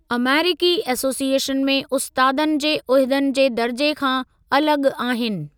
अमेरीकी association में उस्तादनि जे उहिदनि जे दर्जे खां अलॻि आहिनि।